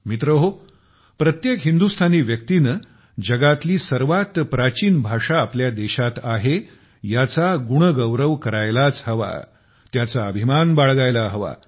मित्रहो प्रत्येक हिंदुस्तानी व्यक्तीने जगातली सर्वात प्राचीन भाषा आपल्या देशात आहे याचा गुण गौरव करायलाच हवा त्याचा अभिमान बाळगायला हवा